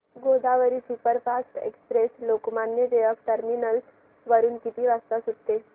Godavari superfast express Lokmanya Tilak terminus वरून किती वाजता सुटते